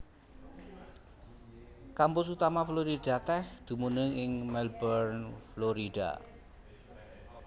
Kampus utama Florida Tech dumunung ing Melbourne Florida